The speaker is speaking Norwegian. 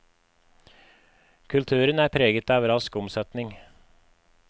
Kulturen er preget av rask omsetning.